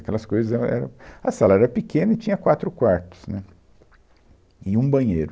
Aquelas coisas... ela era, a sala era pequena e tinha quatro quartos, né, e um banheiro.